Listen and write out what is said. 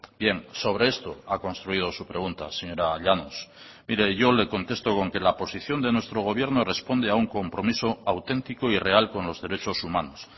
bien sobre esto ha construido su pregunta señora llanos mire yo le contesto con que la posición de nuestro gobierno responde a un compromiso auténtico y real con los derechos humanos